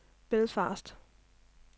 Belfast